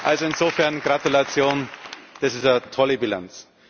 Also insofern Gratulation, das ist eine tolle Bilanz.